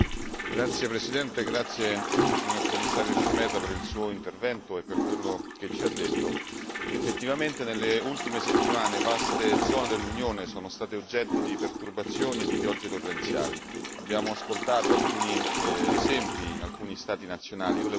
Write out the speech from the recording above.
Signor Presidente, onorevoli colleghi, ringrazio il signor Commissario Šemeta per il suo intervento e per quello che ci ha detto. Effettivamente, nelle ultime settimane vaste zone dell'Unione sono state oggetto di perturbazioni e di piogge torrenziali. Abbiamo ascoltato alcuni esempi in alcuni Stati nazionali.